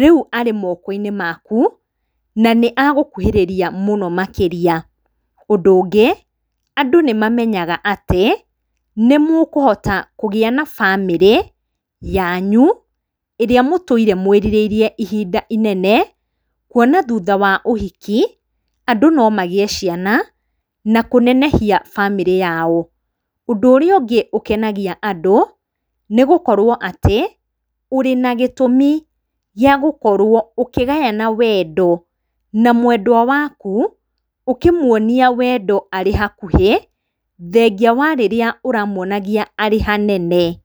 rĩu arĩ mokoinĩ maku, na nĩ agũkuhĩrĩria mũno makĩria. Ũndũ ũngĩ, andũ nĩ mamenyaga atĩ nĩ mũkũhota kũgĩa na bamĩrĩ yanyu, ĩrĩa mũtũire mwĩrirĩirie ihinda inene. Kuona thutha wa ũhiki, andũ no magĩe ciana na kũnenehia bamĩrĩ yao. Ũndũ ũrĩa ũngĩ ũkenagia andũ nĩ gũkorwo atĩ ũrĩ na gĩtũmi gĩagũkorwo ũkĩgayana wendo na mwendwa waku ũkĩmũonia wendo arĩ hakuhĩ thengia wa rĩrĩa ũramũonagia arĩ hanene.